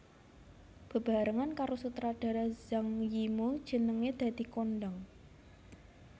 Bebarengan karo sutradara Zhang Yimou jenengé dadi kondhang